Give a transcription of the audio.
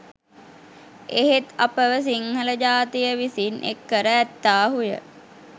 එහෙත් අපව සිංහල ජාතිය විසින් එක් කර ඇත්තාහුය